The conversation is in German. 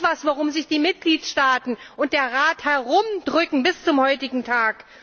Etwas, worum sich die Mitgliedstaaten und der Rat herumdrücken bis zum heutigen Tag!